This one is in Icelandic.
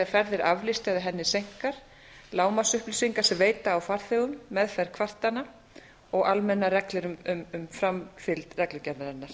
ferð er aflýst eða henni seinkar lágmarksupplýsingar sem veita á farþegum meðferð kvartana og almennar reglur um framfylgd reglugerðarinnar